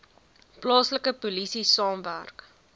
plaaslike polisie saamwerk